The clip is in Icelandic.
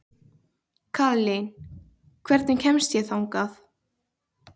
Kaðlín, hvernig kemst ég þangað?